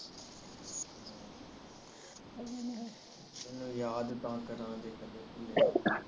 ਤੈਨੂੰ ਯਾਦ ਤਾ ਕਰਾਂਗੇ ਜੇ ਕੇਦੇ ਭੁਲਾ ਤਾ